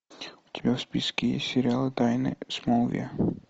у тебя в списке есть сериал тайны смолвиля